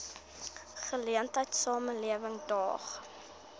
geleentheid samelewing daag